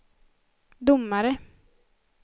domare